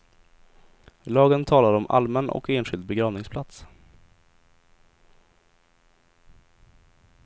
Lagen talar om allmän och enskild begravningsplats.